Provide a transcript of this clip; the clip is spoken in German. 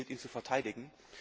Es gilt, ihn zu verteidigen.